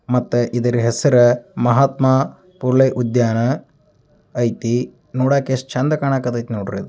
ಮತ್ತೆ ಇದರ ಹೆಸರೇ ಮಹಾತ್ಮಾ ಪುಲೇ ಉದ್ಯಾನ ಐತಿ ನೋಡಾಕ್ ಎಷ್ಟ್ ಚಂದ ಕಾಣಾಕತ್ತೈತಿ ನೋಡ್ರಿ .